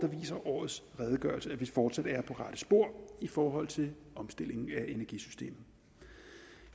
viser årets redegørelse at vi fortsat er på rette spor i forhold til omstillingen af energisystemet